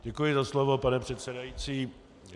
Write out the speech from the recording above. Děkuji za slovo, pane předsedající.